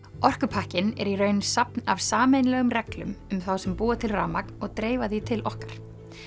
orkupakkinn er í raun safn af sameiginlegum reglum um þá sem búa til rafmagn og dreifa því til okkar